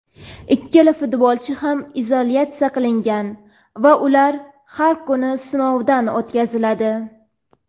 Ikkala futbolchi ham izolyatsiya qilingan va ular har kuni sinovdan o‘tkaziladi.